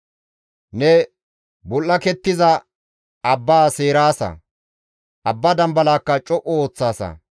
Ne bul7akettiza abba seeraasa; abba dambalakka co7u ooththaasa.